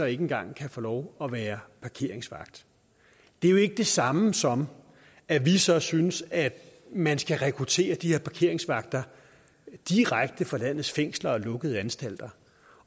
ikke engang kan få lov at være parkeringsvagt det er jo ikke det samme som at vi så synes at man skal rekruttere de her parkeringsvagter direkte fra landets fængsler og lukkede anstalter